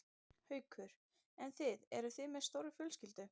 Haukur: En þið, eruð þið með stóra fjölskyldu?